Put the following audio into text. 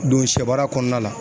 Don sɛ baara kɔɔna la